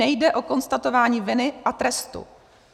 Nejde o konstatování viny a trestu.